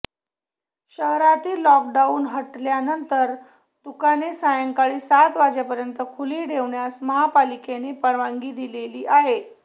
शहरातील लॉकडाऊन हटल्यानंतर दुकाने सायंकाळी सात वाजेपर्यंत खुली ठेवण्यास महापालिकेने परवानगी दिली आहे